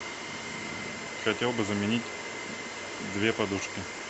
хотел бы заменить две подушки